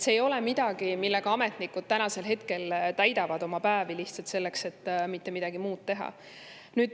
See ei ole midagi, millega ametnikud täidavad oma päevi lihtsalt selleks, et mitte midagi muud teha.